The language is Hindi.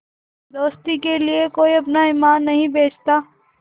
दोस्ती के लिए कोई अपना ईमान नहीं बेचता